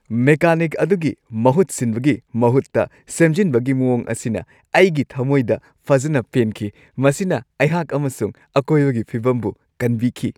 Mechanic ꯑꯗꯨꯒꯤ ꯃꯍꯨꯠ ꯁꯤꯟꯕꯒꯤ ꯃꯍꯨꯠꯇ ꯁꯦꯝꯖꯤꯟꯕꯒꯤ ꯃꯑꯣꯡ ꯑꯁꯤꯅ ꯑꯩꯒꯤ ꯊꯝꯃꯣꯏꯗ ꯐꯖꯅ ꯄꯦꯟꯈꯤ꯫ ꯃꯁꯤꯅ ꯑꯩꯍꯥꯛ ꯑꯃꯁꯨꯡ ꯑꯀꯣꯏꯕꯒꯤ ꯐꯤꯚꯝꯕꯨ ꯀꯟꯕꯤꯈꯤ꯫